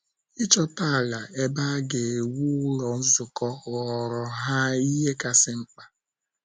Ịchọta ala ebe a ga - ewu Ụlọ Nzukọ ghọọrọ ha ihe kasị mkpa.